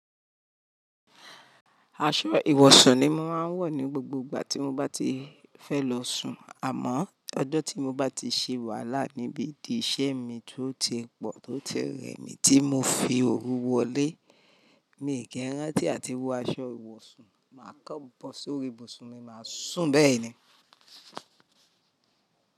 Aṣọ ìwọ̀sùn ni mo máa ń wọ̀ ní gbogbo ìgbà tí mo bá ti fẹ́ lọ sùn àmọ́ ọjọ́ tí mo bá ti ṣe wàhálà níbi ìdí iṣẹ́ mi tó ti pọ̀ tó ti rẹ̀ mí tí mo fi òru wọlé, mi ò kí ń rántí àti wọ aṣọ ìwọ̀sùn, màá kàn bọ́ sórí ibùsùn mi, màá sùn bẹ́ẹ̀ ni.